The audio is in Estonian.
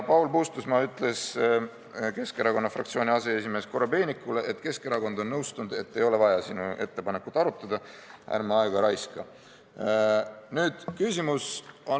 Paul Puustusmaa ütles Keskerakonna fraktsiooni aseesimehele Korobeinikule, et Keskerakond on nõustunud, et ei ole vaja sinu ettepanekut arutada, ärme aega raiskame.